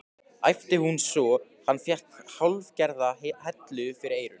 æpti hún svo hann fékk hálfgerða hellu fyrir eyrun.